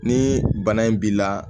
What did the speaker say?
Ni bana in b'i la